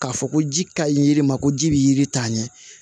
K'a fɔ ko ji ka ɲi yiri ma ko ji be yiri ta ɲɛ